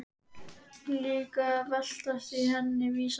Líka að veltast í henni vísan.